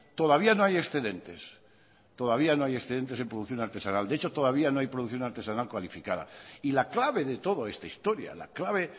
todavía no hay excedentes todavía no hay excedentes en producción artesanal de hecho todavía no hay producción artesanal cualificada y la clave de toda esta historia la clave